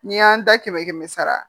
N'i y'an da kɛmɛ kɛmɛ kɛmɛ sara